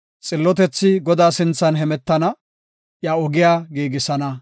Xillotethi Godaa sinthan hemetana; iya ogiya giigisana.